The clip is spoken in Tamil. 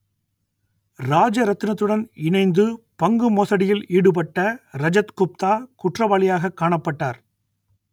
ராஜரத்தினத்துடன் இணைந்து பங்கு மோசடியில் ஈடுபட்ட ரஜத் குப்தா குற்றவாளியாகக் காணப்பட்டார்